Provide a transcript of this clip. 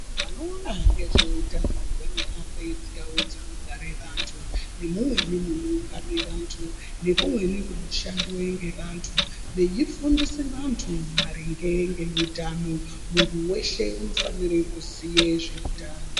Vanoona ngezveutano vanohambe mundau dzinogare vantu nemumweni munoungane vantu, nekumweni kunoshandiwe ngevantu, veifundise vantu maringe ngeutano. Muntu weshe unofanire kuziye zveutano.